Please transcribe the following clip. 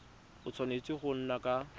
a tshwanetse go nna ka